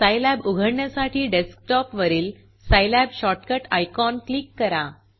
Scilab उघडण्यासाठी डेस्कटॉपवरील Scilab shortcut icon click करा